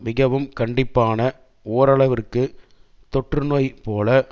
மிகவும் கண்டிப்பான ஓரளவிற்கு தொற்று நோய் போல